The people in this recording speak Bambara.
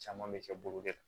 Caman bɛ kɛ bolo de la